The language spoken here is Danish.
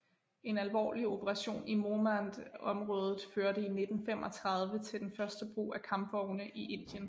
En alvorlig operation i Mohmand området førte i 1935 til den første brug af kampvogne i Indien